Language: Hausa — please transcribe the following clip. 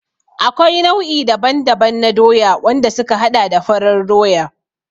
Akwai nau'i daban-daban na Doya, wanda suka haɗa da farar Doya.